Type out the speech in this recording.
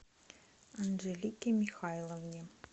анжелике михайловне